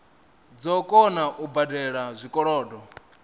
dzo kona u badela zwikolodo